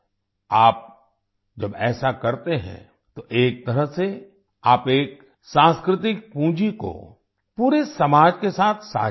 आप जब ऐसा करते हैं तो एक तरह से आप एक सांस्कृतिक पूँजी को पूरे समाज के साथ साझा करते हैं